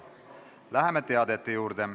Läheme teadete juurde.